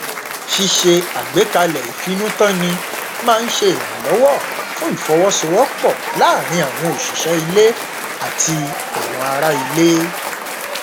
ṣíṣe àgbékalẹ ìfinútànni máa n ṣe ìrànlọwọ fún ìfọwọsowọpọ láàrin àwọn òṣìṣẹ ilé àti àwọn ara ilé